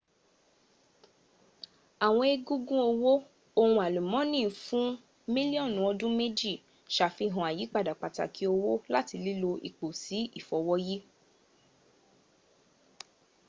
àwọn egungun ọwó ohun àlùmọ́ọ́nì fún mílíọ̀nù ọdún méjì safihàn àyípadà pàtàkì ọwó láti lílò ipò sí ìfowóyí